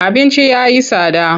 Abinci ya yi tsada.